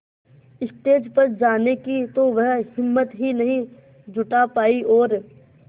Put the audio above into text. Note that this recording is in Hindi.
स्टेज पर जाने की तो वह हिम्मत ही नहीं जुटा पाई और